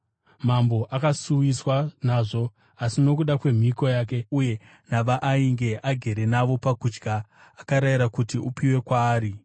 Mambo akasuwiswa nazvo, asi nokuda kwemhiko yake uye navaainge agere navo pakudya, akarayira kuti upiwe kwaari,